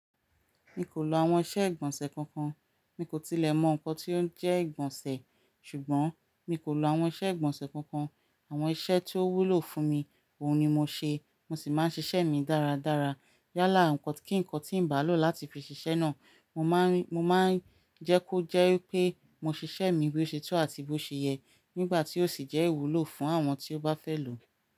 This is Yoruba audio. Mi kò lo àwọn iṣẹ́ ìgbọ̀nsẹ̀ kankan. Mi kò tilẹ̀ mọ nǹkan tí ó ń jẹ́ ìgbọ̀nsẹ̀, ṣùgbọ́n mi kò lo àwọn iṣẹ́ ìgbọ̀nsẹ̀ kankan. Àwọn iṣẹ́ tí ó wúlò fún mi, òun ni mo ṣe, mo sì máa ń ṣiṣẹ́ mi dáradára. Yálà, ǹkankan tí ń bá lò láti fi ṣiṣẹ́ náà, mo máa ń jẹ́ kó jẹ́ pé mo ṣiṣẹ́ mi bí ó ṣe tó àti bó ṣe yẹ nígbà tí ó sì jẹ́ ìwúlò fún àwọn tí ó bá fẹ́ lò ó.